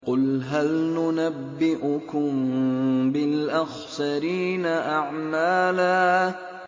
قُلْ هَلْ نُنَبِّئُكُم بِالْأَخْسَرِينَ أَعْمَالًا